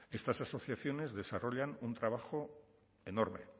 estas asociaciones desarrollan un trabajo enorme